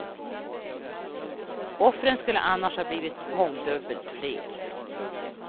Offren skulle annars ha blivit mångdubbelt fler.